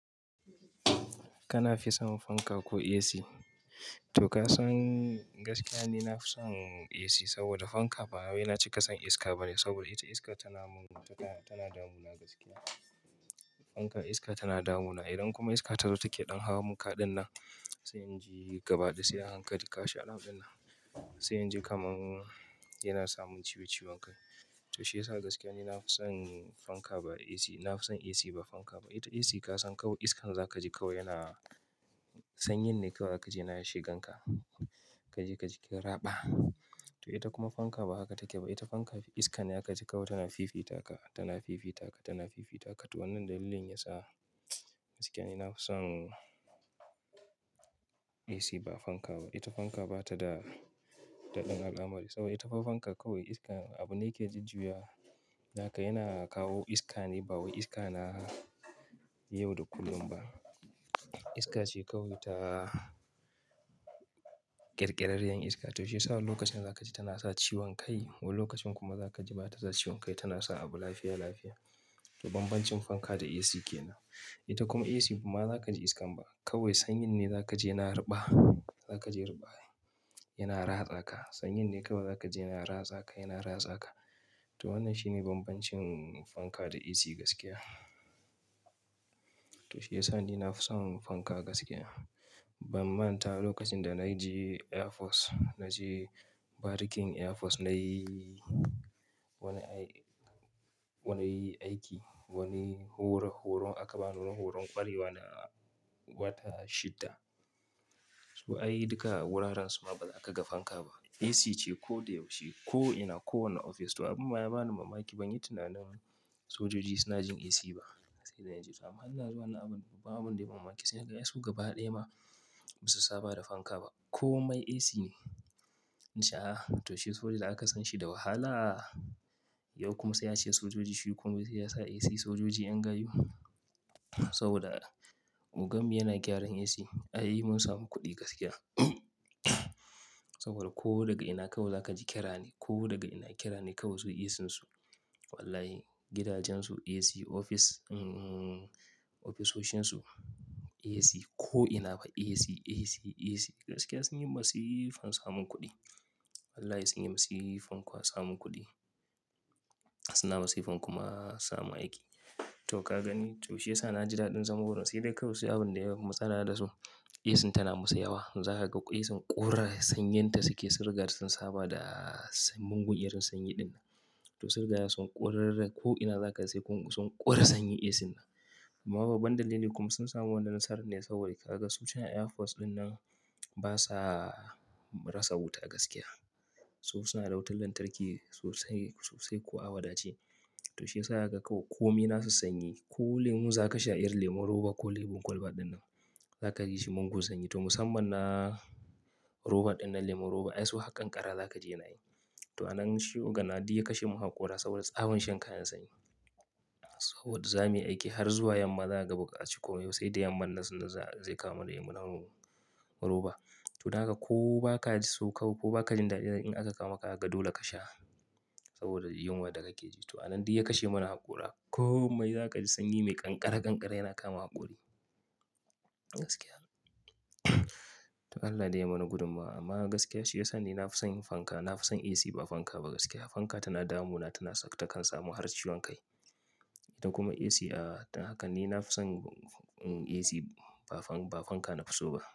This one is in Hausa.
Kana fi son fanka ko AC? To ka san gaskiya ne na fi son AC saboda fanka, ba waye na ce ka san iska ba ne saboda ita iska tana mun, tana damuna gaskiya. Fanka iska tana damuna. Idan kuma iska ta zo take ɗan hawa mun kaɗin nan, sai in ji gaba da sai a hankali kashe al'adun nan. Sai in ji kamar yana samun ciwon ciwon kai. To shiyasa gaskiya ne na fi son fanka ba AC, na fi son AC ba fanka ba. Ita AC ka san kawai iskan za ka ji kawai yana sanyin ne kawai ka je yana shigan ka. Ka je ka ji kiraba. To ita kuma fanka ba haka take ba. Ita fanka iskan ya ka ji kawai tana fifita ka, tana fifita ka, tana fifita ka. To wannan dalilin yasa gaskiya ne na fi son AC ba fanka ba. Ita fanka ba ta da daɗin al'amari saboda ita fanka kawai iska abu ne ke jujjuyawa. Haka yana kawo iska ne, ba wai iska na yau da kullum ba. Iska ce kawai ta ƙirƙirariyar iska. To shiyasa lokacin za ka ji tana sa ciwon kai, wani lokacin kuma za ka ji ba ta sa ciwon kai, tana sa abu lafiya lafiya. To banbancin fanka da AC ke nan. Ita kuma AC ba za ka ji iskan ba. Kawai sanyin ne za ka ji yana raba, za ka ji raba. Yana ratsa ka. Sanyin ne kawai za ka ji yana ratsa ka, yana ratsa ka. To wannan shine banbancin fanka da AC gaskiya. To shiyasa ni na fi son fanka gaskiya. Ban manta lokacin da na je Air Force, na je barikin Air Force nayi wani aiki, wani horon, horon akaban horon ƙwarewa na wata shidda. To ayi duka wuraren su ma ba za ka ga fanka ba. AC ce ko da yaushe, ko ina, kowane ofis. To abun ma ya bani mamaki ban yi tunanin sojoji suna jin AC ba. Sai da na ji to amma hanna zuwa na abun, babu abin da ya mamaki. Sai na ga su gaba ɗaya ma ba su saba da fanka ba. Komai AC ne. In sha. To shi soja da aka san shi da wahala. Yau kuma sai ya ce sojoji shi kawai sai ya sa AC sojoji yan gayu. Saboda mugambi yana gyaran AC. Ayi mun samu kuɗi gaskiya. Saboda ko daga ina kawai za ka ji ƙira ne. Ko daga ina ƙira ne kawai su AC su. Wallahi, gidajen su AC, ofis, ofisoshin su AC, ko ina ba AC, AC, AC. Gaskiya sun yi masifan samun kuɗi. Wallahi sun yi masifan kuwa samun kuɗi. Suna masifan kuma samun aiki. To ka gani. To shiyasa na ji daɗin zama wurin. Sai dai kawai shi abun da ya yi matsala da su, AC tana musu yawa. Zaka ga ƙura sanyen ta suke sirga da sun saba da sun mun gunyar sanyi din. To sirga yasa sun ƙorarrace ko ina za ka je sai kun sun ƙora sanyi AC din. Amma babu banɗali ne kuma sun samu wani nasarar ne saboda ka ga sojoji Air Force din nan basa rasa wuta a gaskiya. Su suna da wutar lantarki sosai, sosai ko awada ce. To shiyasa haka kawai kome nasu sanyi. Ko lemu za ka sha, yar lemun roba ko lemun kwalba dinnan, za ka ji shi mugun sanyi. To musamman na roba dinnan lemun roba, ai su haƙan ƙara za ka je ya nayi. To wannan shi gana dai ya kashe mu haƙora saboda abun shan kayan sanyi. Saboda zamuyi aiki har zuwa yamma za ka buga ciko yau sai da yamma nasu zai kawo mana yi mun haƙon roba. To haka ko ba ka ji su kawai ko ba ka jin daɗin in aka kawo maka, ga dole ka sha. Saboda yunwar da ka ke ji. To wannan dai ya kashe mana haƙora. Komai za ka ji sanyi mai ƙanƙara ƙanƙara yana kama haƙori. Gaskiya. To Allah dai ya mana gudummawa amma gaskiya shi ya sa ni na fi son fanka, na fi son AC ba fanka ba gaskiya. Fanka tana damuna, tana saka takan samu har ciwon kai. Ita kuma AC, ah haka ni na fi son AC ba fanka na fi so ba.